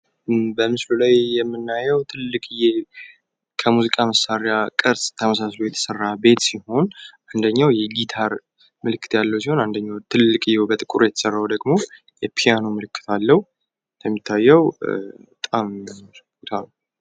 በምስሉ ላይ የምናየው ትልቅዬ ከሙዚቃ መሳሪያ ቅርጽ ተመሳስሎ የተሰራ ቤት ሲሆን አንደኛው የጊታር ምልክት ያለው ሲሆን አንደኛው ትልቅዬ በጥቁር የተሰራው ደሞ የፒያኖ ምልክት አለው ።እንደሚታየው በጣም የሚያምር ቦታ ነው።